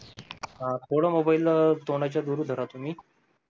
अं थोडं मोबाईल तोंडाच्या दूर धरा तुम्ही